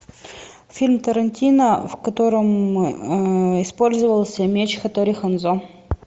фильм тарантино в котором использовался меч хаттори ханзо